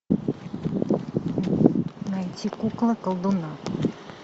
найти кукла колдуна